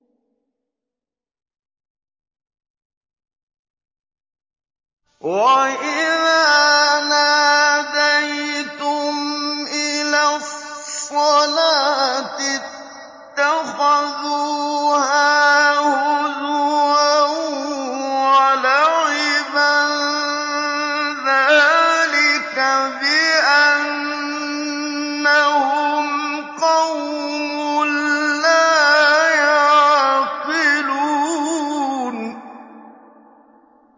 وَإِذَا نَادَيْتُمْ إِلَى الصَّلَاةِ اتَّخَذُوهَا هُزُوًا وَلَعِبًا ۚ ذَٰلِكَ بِأَنَّهُمْ قَوْمٌ لَّا يَعْقِلُونَ